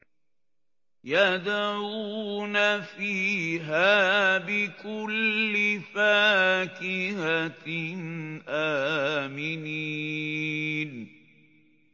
يَدْعُونَ فِيهَا بِكُلِّ فَاكِهَةٍ آمِنِينَ